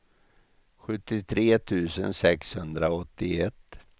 sjuttiotre tusen sexhundraåttioett